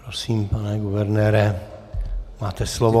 Prosím, pane guvernére, máte slovo.